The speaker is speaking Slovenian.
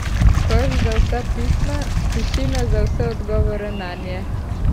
Koš za vsa pisma, tišina za vse odgovore nanje.